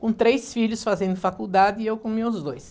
com três filhos fazendo faculdade e eu com meus dois.